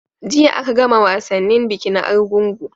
Jiya a ka gama wasannin bikin argungu